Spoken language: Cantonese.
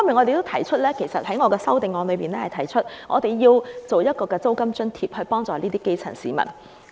另一方面，我在修正案建議提供租金津貼幫助基層市民。